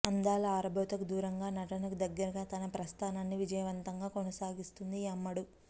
అందాల ఆరబోతకు దూరంగా నటనకు దగ్గరగా తన ప్రస్థానాన్ని విజయవంతంగా కొనసాగిస్తుంది ఈ అమ్మడు